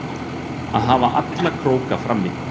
Að hafa alla króka frammi